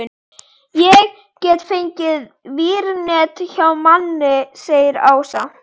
Ég get fengið vírnet hjá manni segir Ása.